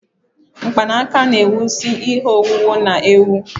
Mkpanaka na-ewusi ihe owuwu na-ewu